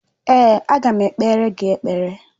Èé, aga m ekpere gị ekpere.